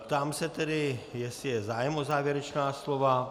Ptám se tedy, jestli je zájem o závěrečná slova.